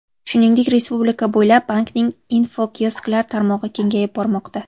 Shuningdek, respublika bo‘ylab bankning infokiosklari tarmog‘i kengayib bormoqda.